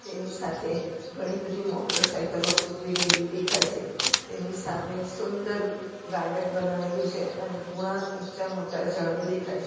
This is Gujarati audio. ની સાથે ઘણી બધી મોટરસાયકલો ઉભી રહેલી દેખાય છે તેની સામે સુંદર ગાર્ડન બનાવેલું છે અને કુણા ઊંચા મોટા ઝાડો દેખાય છે.